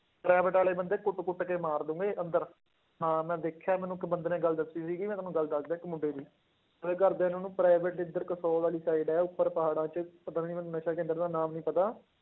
Private ਵਾਲੇ ਬੰਦੇ ਕੁੱਟ ਕੁੱਟ ਕੇ ਮਾਰ ਦੇਣਗੇ ਅੰਦਰ, ਹਾਂ ਮੈਂ ਦੇਖਿਆ ਮੈਨੂੰ ਇੱਕ ਬੰਦੇ ਨੇ ਗੱਲ ਦੱਸੀ ਸੀਗੀ, ਮੈਂ ਤੁਹਾਨੂੰ ਗੱਲ ਦੱਸਦਾਂ ਇੱਕ ਮੁੰਡੇ ਦੀ ਉਹਦੇ ਘਰਦਿਆਂ ਨੇ ਉਹਨੂੰ private ਇੱਧਰ ਵਾਲੀ side ਹੈ, ਉੱਪਰ ਪਹਾੜਾਂ 'ਚ ਪਤਾ ਨੀ ਮੈਨੂੰ ਨਸ਼ਾ ਕੇਂਦਰ ਦਾ ਨਾਮ ਨੀ ਪਤਾ।